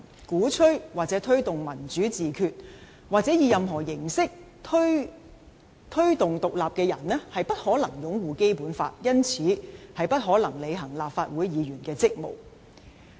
鼓吹或推動'民主自決'或以何種形式提議獨立的人士不可能擁護《基本法》，因此不可能履行立法會議員的職責。